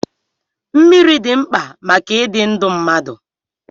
Mmiri dị mkpa maka ịdị ndụ mmadụ.